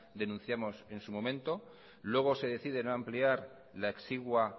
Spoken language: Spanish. denunciamos en su momento luego se decide no ampliar la exigua